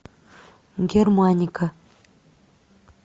германика